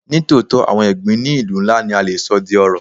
Ní tòótọ́, àwọn ẹ̀gbin ní ìlú ńlá ni a le sọ di ọrọ̀.